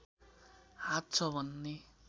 हात छ भन्ने